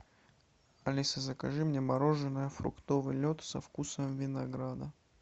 алиса закажи мне мороженое фруктовый лед со вкусом винограда